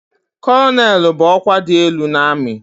Kọlọnelụ bụ ọkwa dị elu n'amị.